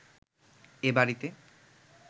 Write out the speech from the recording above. এ বাড়িতে